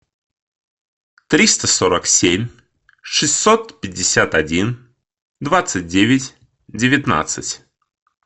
триста сорок семь шестьсот пятьдесят один двадцать девять девятнадцать